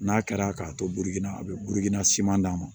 N'a kɛra k'a to burukina a bɛ burukina siman d'a ma